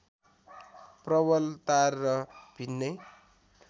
प्रबलता र भिन्नै